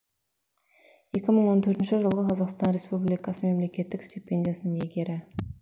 екі мың он төртінші жылғы қазақстан республикасы мемлекеттік стипендиясының иегері